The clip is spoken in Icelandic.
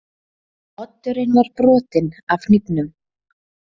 Oddurinn var brotinn af hnífnum.